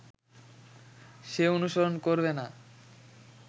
সে অনুসরণ করবে না